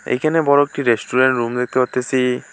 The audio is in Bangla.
এইখানে বড় একটি রেস্টুরেন রুম দেখতে পাত্তাসি।